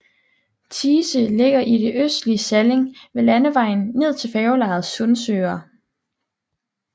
Thise ligger i det østlige Salling ved landevejen ned til færgelejet Sundsøre